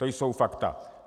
To jsou fakta.